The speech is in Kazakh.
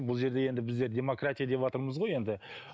бұл жерде енді біздер демократия деватырмыз ғой енді